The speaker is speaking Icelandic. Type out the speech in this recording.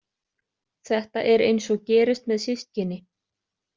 Þetta er eins og gerist með systkini.